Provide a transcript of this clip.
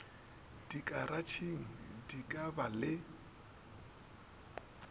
dikaratšheng di ka ba le